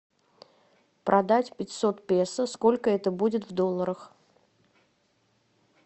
продать пятьсот песо сколько это будет в долларах